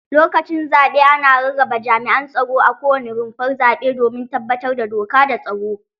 Lokacin zaɓe ana rarraba jami'an tsaro a kowane rumfar zaɓe domin tabbatar da doka da tsaro.